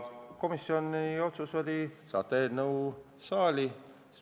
Komisjoni otsus oli saata eelnõu saali.